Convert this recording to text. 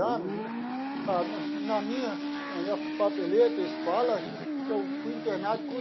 Ano né na na na minha na minha papeleta, eles fala que eu fui internado com.